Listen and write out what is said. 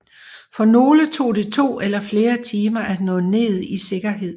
For nogle tog det to eller flere timer at nå ned i sikkerhed